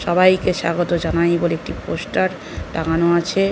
সবাইকে স্বাগত জানাই বলে একটি পোস্টার লাগানো আছে।